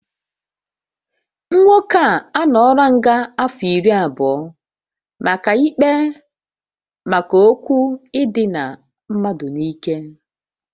Nwoke a anọọla nga afọ iri abụọ maka ikpe maka okwu idina mmadụ n'ike